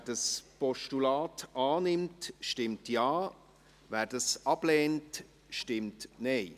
Wer das Postulat annimmt, stimmt Ja, wer dieses ablehnt, stimmt Nein.